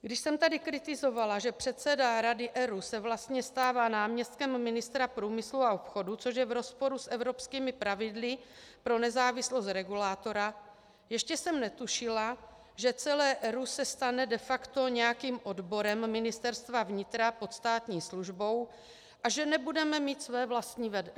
Když jsem tady kritizovala, že předseda Rady ERÚ se vlastně stává náměstkem ministra průmyslu a obchodu, což je v rozporu s evropskými pravidly pro nezávislost regulátora, ještě jsem netušila, že celé ERÚ se stane de facto nějakým odborem Ministerstva vnitra pod státní službou a že nebude mít své vlastní vedení.